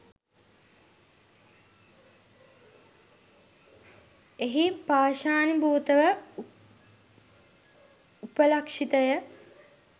එහි පාෂාණීභූත ව උපලක්ෂිත ය.